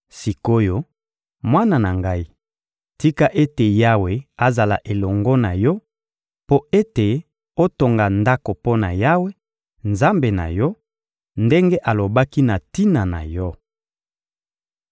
Sik’oyo, mwana na ngai, tika ete Yawe azala elongo na yo mpo ete otonga Ndako mpo na Yawe, Nzambe na yo, ndenge alobaki na tina na yo!